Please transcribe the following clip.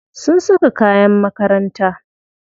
Sun saka kayan makaranta.